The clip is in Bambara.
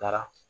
Taara